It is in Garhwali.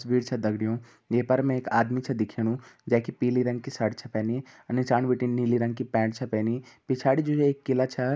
तस्वीर छ दगड़ियों ये पर में एक आदमी छ दिखेणु जै की पीली रंग की सर्ट छ पहनी अर निसाण बिटिन नीली रंग की पैन्ट छ पहनी। पिछाड़ि जु है एक किला छ।